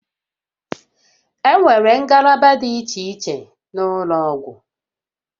Enwere ngalaba dị iche iche n'ụlọ ọgwụ